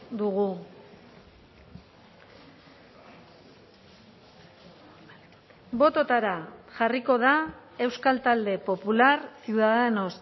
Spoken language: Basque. dugu bototara jarriko da euskal talde popular ciudadanos